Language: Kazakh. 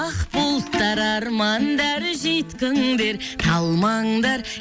ақ бұлттар армандар жүйткіңдер қалмаңдар